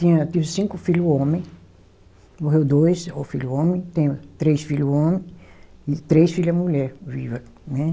Tinha, tive cinco filho homem, morreu dois, o filho homem, tenho três filho homem e três filha mulher viva, né?